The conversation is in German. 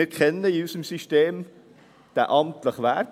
Wir kennen in unserem System diesen amtlichen Wert.